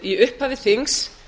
í upphafi þings